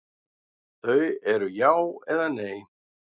Þau eru já eða nei.